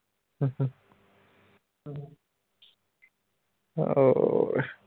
ਹੋਰ।